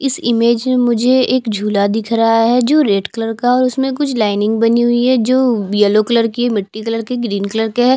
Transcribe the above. इस इमेज में मुझे एक झूला दिख रहा है जो रेड कलर का है उसमें कुछ लाइनिंग बनी हुई हैं जो येलो कलर की हैं मिट्टी कलर की है ग्रीन कलर की है।